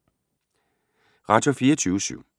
Radio24syv